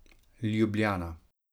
Ljubljana.